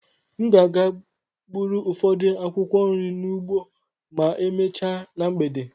M ga-aga gbụrụ ụfọdụ akwụkwọ nri n'ugbo ma emechaa na mgbede.